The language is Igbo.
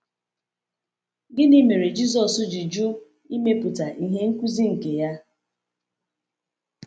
Gịnị mere Jisọs ji jụ imepụta ihe nkuzi nke ya?